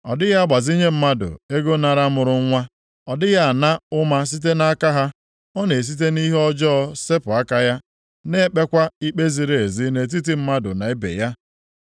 Ọ dịghị agbazinye mmadụ ego nara mụrụ nwa, ọ dịghị ana ụma site nʼaka ha. Ọ na-esite nʼihe ọjọọ sepụ aka ya, na-ekpekwa ikpe ziri ezi nʼetiti mmadụ na ibe ya.